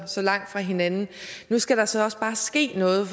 så langt fra hinanden nu skal der så også bare ske noget